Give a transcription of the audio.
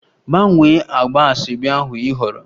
Gbanwee agba asoebi ahụ ị họọrọ!